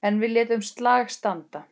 En við létum slag standa.